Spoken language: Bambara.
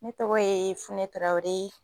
Ne tɔgɔ ye Funɛ Tarawele.